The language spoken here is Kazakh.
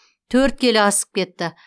төрт келі асып кетті